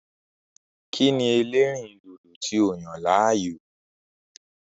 Kí ni ẹlẹ́rìndòdò tí o yàn láàyò?